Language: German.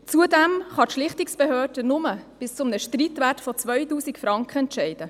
Zudem kann die Schlichtungsbehörde nur bis zu einem Streitwert von 2000 Franken entscheiden.